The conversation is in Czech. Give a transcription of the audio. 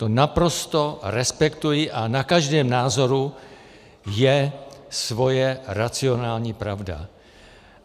To naprosto respektuji a na každém názoru je jeho racionální pravda.